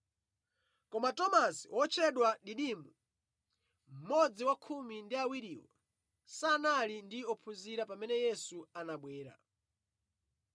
Koma Tomasi (otchedwa Didimo), mmodzi wa khumi ndi awiriwo, sanali ndi ophunzira pamene Yesu anabwera.